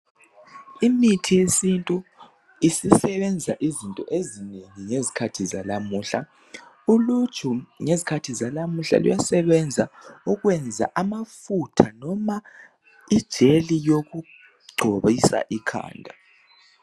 Imithi yesintu isisebenza izinto ezinengi ngezikhathi zalamuhla. Uluju, ngezikhathi zalamuhla luyasebenza ukwenza amafutha noma ijeli yokugcobisa ikhanda.